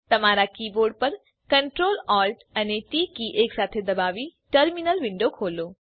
તમારા કીબોર્ડ પર Ctrl Alt અને ટી કી એકસાથે દબાવી ટર્મીનલ વિન્ડો ખોલો